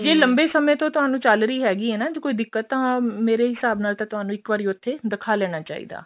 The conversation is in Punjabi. ਜੇ ਲੰਬੇ ਸਮੇਂ ਤੋਂ ਤੁਹਾਨੂੰ ਚੱਲ ਰਹੀ ਹੈਗੀ ਏ ਨਾ ਕੋਈ ਦਿੱਕਤ ਤਾਂ ਮੇਰੇ ਹਿਸਾਬ ਨਾਲ ਤਾਂ ਤੁਹਾਨੂੰ ਇੱਕ ਵਾਰੀ ਉੱਥੇ ਦਿਖਾ ਲੈਣਾ ਚਾਹੀਦਾ